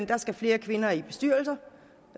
der skal flere kvinder i bestyrelser